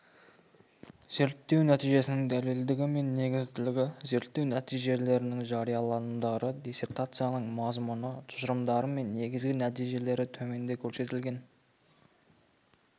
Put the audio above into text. зерттеу нәтижесінің дәлелдігі мен негізділігі зерттеу нәтижелерінің жарияланымдары диссертацияның мазмұны тұжырымдары мен негізгі нәтижелері төменде көрсетілген